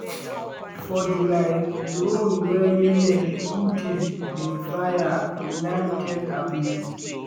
for july drone wey yemen houthis bin fire land tel aviv.